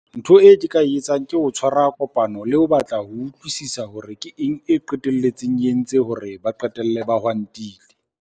Ntho e ke ka e etsang ke ho tshwara kopano le ho batla ho utlwisisa hore ke eng e qetelletseng e entse hore ba qetelle ba hwantile?